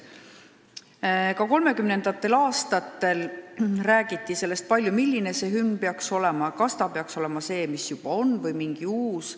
Ka 1930. aastatel räägiti palju sellest, milline hümn peaks olema, kas ta peaks olema seesama, mis juba olemas oli, või midagi uut.